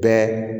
Bɛɛ